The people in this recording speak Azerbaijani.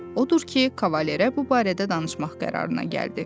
Odur ki, kavalera bu barədə danışmaq qərarına gəldi.